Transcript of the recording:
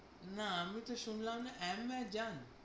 না আমি তো শুনলাম না আমাজন?